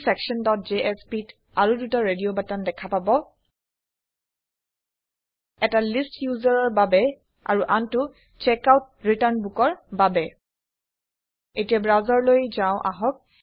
adminsectionjspত আৰু দুটা radio button দেখা পাব এটা লিষ্ট ইউজাৰৰ বাবে আৰু আনটো checkoutৰিটাৰ্ণ বুক ৰ বাবে এতিয়া ব্ৰাউচাৰলৈ যাও আহক